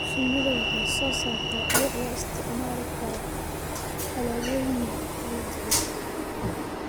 Shinnidu waxay soo saartaa dhux loo isticmaali karo alaabooyin kala duwan.